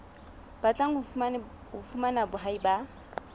batlang ho fumana boahi ba